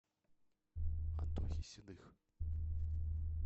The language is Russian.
антохе седых